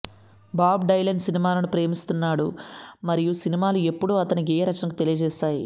Bob Dylan సినిమాలను ప్రేమిస్తున్నాడు మరియు సినిమాలు ఎప్పుడూ అతని గేయరచనకు తెలియజేశాయి